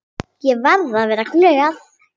Ég verði að vera glöð.